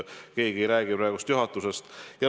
Keegi ei räägi praegu juhatusest.